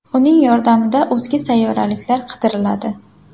Uning yordamida o‘zga sayyoraliklar qidiriladi.